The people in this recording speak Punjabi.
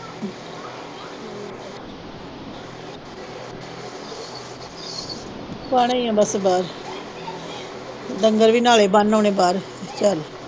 ਪਾਉਣੇ ਈਆ ਬਸ ਬਾਹਰ ਡੰਗਰ ਵੀ ਨਾਲੇ ਬੰਨ ਆਉਣੇ ਬਾਹਰ ਚਲ